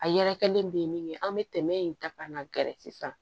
A yɛrɛkɛlen bɛ min ye an bɛ tɛmɛ in ta ka na gɛrɛ sisan